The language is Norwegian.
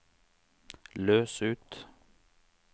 løs ut